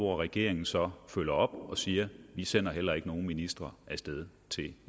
regeringen så følger op og siger vi sender heller ikke nogen ministre af sted til